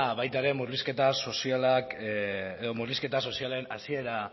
baita ere murrizketa sozialen hasiera